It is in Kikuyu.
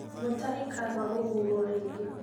Mutahi kagwe gũthuurwo rĩngĩ